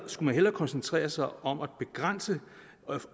man hellere koncentrere sig om at begrænse